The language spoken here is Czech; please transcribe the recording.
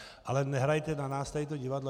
Ale nehrajte na nás tady to divadlo.